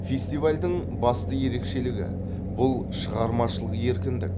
фестивальдің басты ерекшелігі бұл шығармашылық еркіндік